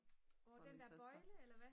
nå den der bøjle eller hvad